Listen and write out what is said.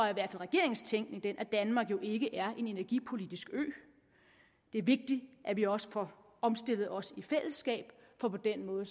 regerings tænkning den at danmark jo ikke er en energipolitisk ø det er vigtigt at vi også får omstillet os i fællesskab for på den måde